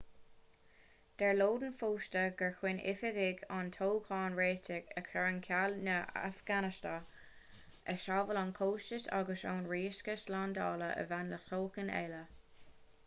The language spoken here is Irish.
deir lodin fosta gur chinn oifigigh an toghcháin réitigh a chur ar ceall chun na hafganastánaigh a shábháil ón chostas agus ón riosca slándála a bhain le toghchán eile